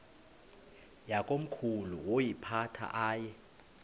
yakomkhulu woyiphatha aye